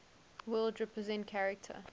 world represent character